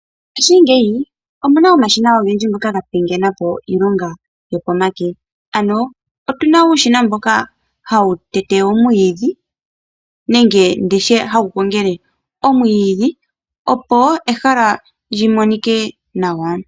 Mongashingeyi oku na omashina ogendji ngoka ga pingena po iilonga yokomake. Otu na uushina hawu tete omwiidhi nenge hawu gongele omwiidhi, opo ehala li monike nawa.